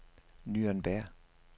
Nürnberg